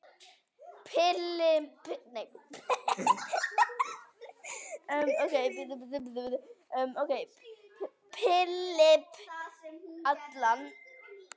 Philip, Allan.